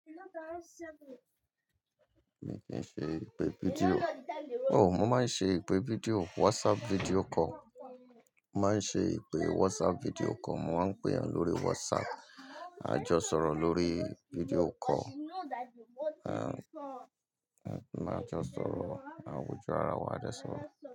Mi i kì n ṣe ìpè fídíò. Oh, mo máa ń ṣe ìpè fídíò, WhatsApp video call. Mo máa ń ṣe ìpè WhatsApp video call. Mo máa ń péyan lórí WhatsApp, a jọ sọ̀rọ̀ lórí video call. A, a jọ sọ̀rọ̀, a wójú ara wa, a de sọ̀rọ̀